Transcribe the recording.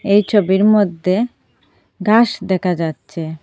এই ছবির মধ্যে ঘাস দেখা যাচ্ছে।